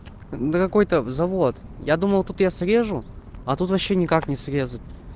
да какой-то в завод я думал тут я срежу а тут вообще никак не срезать